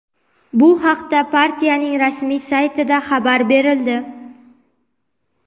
Bu haqda partiyaning rasmiy saytida xabar berildi.